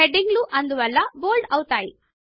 heading లు అందువలన bold అవుతాయి